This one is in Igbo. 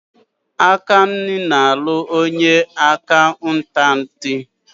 Egbuna na-alụ onye akaụntantị.